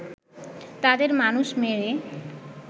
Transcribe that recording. তাদের মানুষ মেরে